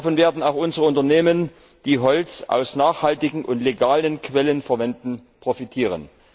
Davon werden auch unsere Unternehmen, die Holz aus nachhaltigen und legalen Quellen verwenden, profitieren.